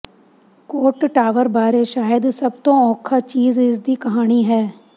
ਕੋਟ Tower ਬਾਰੇ ਸ਼ਾਇਦ ਸਭ ਤੋਂ ਔਖਾ ਚੀਜ਼ ਇਸ ਦੀ ਕਹਾਣੀ ਹੈ